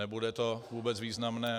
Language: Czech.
Nebude to vůbec významné.